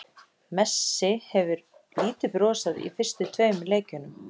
Messi hefur lítið brosað í fyrstu tveimur leikjunum.